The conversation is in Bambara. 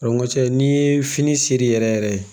Ko cɛ n'i ye fini seri yɛrɛ yɛrɛ ye